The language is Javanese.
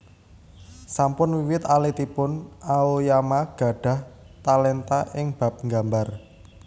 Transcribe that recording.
Sampun wiwit alitipun Aoyama gadhah talenta ing bab nggambar